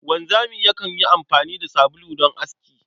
Wanzami yakan yi amfani da sabulu don aski.